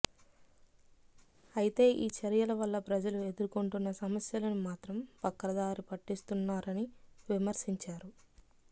అయితే ఈ చర్యల వల్ల ప్రజలు ఎదుర్కొంటున్న సమస్యలను మాత్రం పక్కదారి పట్టిస్తున్నారని విమర్శించారు